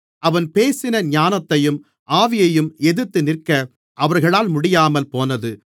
அவன் பேசின ஞானத்தையும் ஆவியையும் எதிர்த்துநிற்க அவர்களால் முடியாமல்போனது